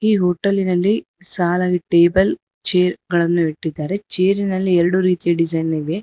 ಈ ಹೋಟೆಲಿಲ್ಲಿ ಸಾಲಾಗಿ ಟೇಬಲ್ ಚೇರ್ ಗಳನ್ನು ಇಟ್ಟಿದ್ದಾರೆ ಚೇರಿನಲ್ಲಿ ಎರಡು ರೀತಿಯ ಡಿಸೈನ್ ಇವೆ.